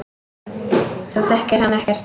Þú þekkir hann ekkert.